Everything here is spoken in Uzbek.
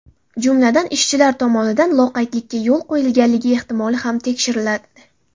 Jumladan, ishchilar tomonidan loqaydlikka yo‘l qo‘yilganligi ehtimoli ham tekshiriladi.